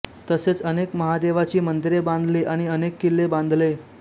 तसेच अनेक महादेवाची मंदिरे बांधली आणि अनेक किल्ले बांधले